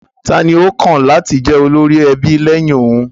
Ta àní ó kàn láti jẹ olórí ẹbí lẹ́yìn òun